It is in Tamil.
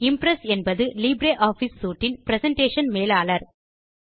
இம்ப்ரெஸ் என்பது லிப்ரியாஃபிஸ் சூட் இன் பிரசன்டேஷன் மேலாளர்